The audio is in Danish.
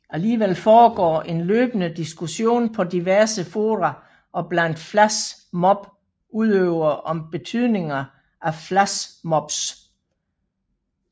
Alligevel foregår en løbende diskussion på diverse fora og blandt flash mob udøvere om betydninger af flash mobs